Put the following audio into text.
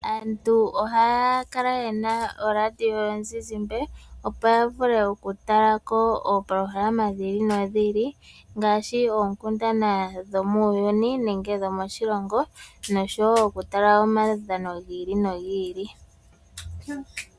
Aantu ohaya kala yena ooradio yomuzizimbe opo ya vule oku tala ko oopolohalama dhi ili nodhi ili ngaashi oonkundana dhomuuyuni nenge dhomoshilongo noshowo oku tala omaudhano gi ili nogi ili.